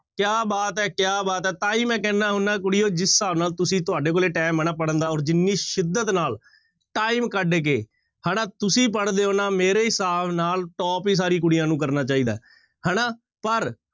ਕਿਆ ਬਾਤ ਹੈ ਕਿਆ ਬਾਤ ਹੈ ਤਾਂ ਹੀ ਮੈਂ ਕਹਿਨਾ ਹੁਨਾ ਕੁੜੀਓ ਜਿਸ ਹਿਸਾਬ ਨਾਲ ਤੁਸੀਂ ਤੁਹਾਡੇ ਕੋਲੇ time ਹੈ ਨਾ ਪੜ੍ਹਨ ਦਾ ਔਰ ਜਿੰਨੀ ਸਿਦਤ ਨਾਲ time ਕੱਢ ਕੇ ਹਨਾ ਤੁਸੀਂ ਪੜ੍ਹਦੇ ਹੋ ਨਾ ਮੇਰੇ ਹਿਸਾਬ ਨਾਲ top ਹੀ ਸਾਰੀ ਕੁੜੀਆਂ ਨੂੰ ਕਰਨਾ ਚਾਹੀਦਾ ਹੈ, ਹਨਾ ਪਰ